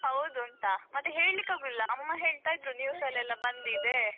ಮತ್ತೇ ಹೇಳ್ಲಿಕ್ಕೆ ಅಗುದಿಲ್ಲಾ ಅಮ್ಮ ಹೇಳ್ತಾ ಇದ್ರು news ಅಲ್ಲೆಲ್ಲಾ ಬಂದಿದೆ.